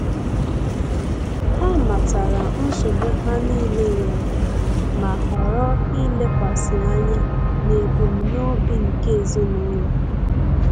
Ha matara nsogbu ha niile nwere, ma ghọrọ ilekwasị anya n'ebumnobi nke ezinụlọ